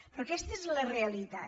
però aquesta és la realitat